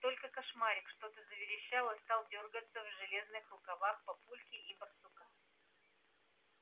только кошмарик что-то заверещал и стал дёргаться в железных руках папульки и барсука